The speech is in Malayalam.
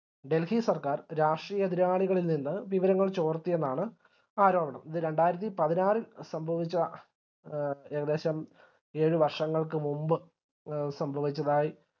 delhi സർക്കാർ രാഷ്ട്രീയ എതിരാളികളിൽ നിന്ന് വിവരങ്ങൾ ചോർത്തി എന്നാണ് ആരോപണം ഇത് രണ്ടായിരത്തി പതിനാറിൽ സംഭവിച്ച ആ ഏകദേശം ഏഴു വര്ഷങ്ങൾക്ക് മുമ്പ് എ സംഭവിച്ചതായി